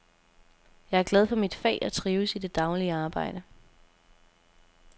Jeg er glad for mit fag og trives i det daglige arbejde.